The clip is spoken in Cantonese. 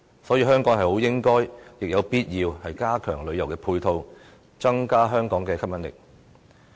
所以，香港有必要加強旅遊配套，增加香港的吸引力。